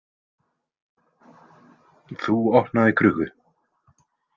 Þú opnaðir krukku?